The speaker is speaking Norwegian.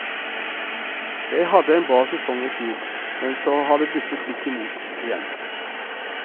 Jeg hadde en bra sesong i fjor, men så har det buttet litt i mot igjen.